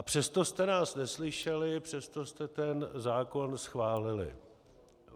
A přesto jste nás neslyšeli, přesto jste ten zákon schválili.